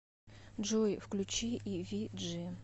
джой включи и ви джи